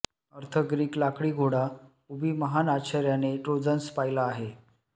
अर्थ ग्रीक लाकडी घोडा उभी महान आश्चर्याने ट्रोजन्स पाहिला आहे